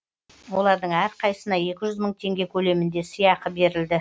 олардың әрқайсысына екі жүз мың теңге көлемінде сыйақы берілді